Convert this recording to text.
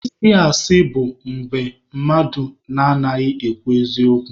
Ịsị asị bụ mmadụ adịghị ekwu eziokwu.